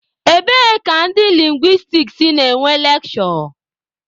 Ebee ka ndị lingwistiks na-enwe lekshure?